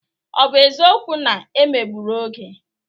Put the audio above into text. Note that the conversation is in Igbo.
Ọ bụ eziokwu na e megburu Oge?